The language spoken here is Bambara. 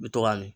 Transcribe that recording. N bɛ to k'a mi